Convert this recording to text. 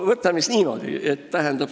Võtame sellise näite.